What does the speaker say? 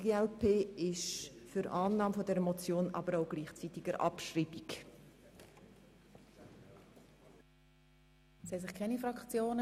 Die glp ist für Annahme und gleichzeitige Abschreibung dieser Motion.